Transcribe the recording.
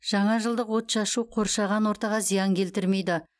жаңа жылдық отшашу қоршаған ортаға зиян келтірмейді